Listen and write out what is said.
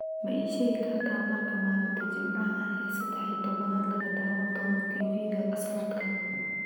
ma ii sheegi kartaa marka maalinta jimcaha ah ee sadex iyo tobnaad laga daawan doono tv-ga sanadkan